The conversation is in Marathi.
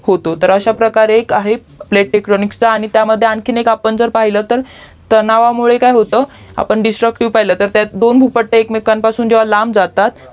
होतो तर अश्या प्रकारे एक आहे PLAY TECHNIQUES च आणि त्यामध्ये आणखीन एक आपण पहिलं तर तणावामुळे काय होतं आपण दिस्तृक्तिवे पहिलं जेव्हा दोन भूपट्ट एमेकापासून लांब जातात